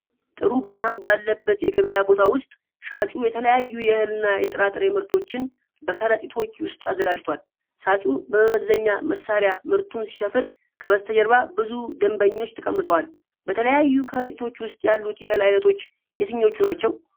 ጥሩ ብርሃን ባለበት የገበያ ቦታ ውስጥ፣ ሻጩ የተለያዩ የእህልና የጥራጥሬ ምርቶችን በከረጢቶች ውስጥ አዘጋጅቷል። ሻጩ በመመዘኛ መሣሪያ ምርቱን ሲሰፍር ከበስተጀርባ ብዙ ደንበኞች ተቀምጠዋል። በተለያዩ ከረጢቶች ውስጥ ያሉት የእህል ዓይነቶች የትኞቹ ናቸው?